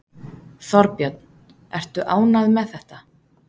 Þorbjörn: Ertu ánægð með þetta?